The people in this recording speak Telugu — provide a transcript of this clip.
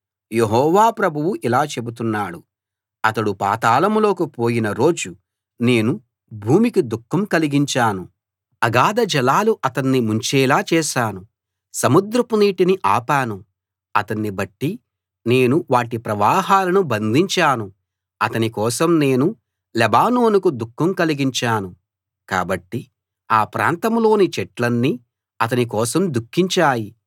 యెహోవా ప్రభువు ఇలా చెబుతున్నాడు అతడు పాతాళం లోకి పోయిన రోజు నేను భూమికి దుఃఖం కలిగించాను అగాధజలాలు అతన్ని ముంచేలా చేశాను సముద్రపు నీటిని ఆపాను అతన్ని బట్టి నేను వాటి ప్రవాహాలను బంధించాను అతని కోసం నేను లెబానోనుకు దుఃఖం కలిగించాను కాబట్టి ఆ ప్రాంతంలోని చెట్లన్నీ అతని కోసం దుఃఖించాయి